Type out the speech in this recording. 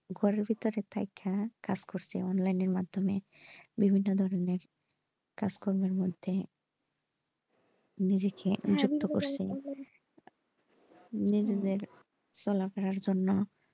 ঘরের ভিতরে থাইকা কাজ করছে online এর মাধ্যমে বিভিন্য ধরণের কাজকম্মের মধ্যে নিজেকে নিজের চলাফেরার জন্য।